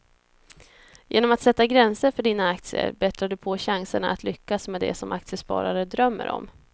Genom att sätta gränser för dina aktier bättrar du på chanserna att lyckas med det som aktiesparare drömmer om.